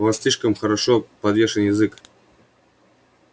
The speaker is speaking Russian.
у вас слишком хорошо подвешен язык